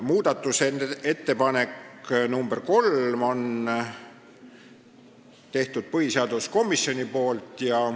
Muudatusettepaneku nr 3 on teinud põhiseaduskomisjon.